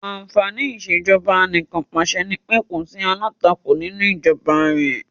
Àǹfàní ìṣèjọba anìkànpàṣẹ nipé kò sí alátakò nínú ìjọba rẹ̀.